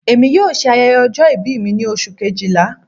Emi yoo ṣe ayẹyẹ ọjọ-ibi mi ni Oṣu kejila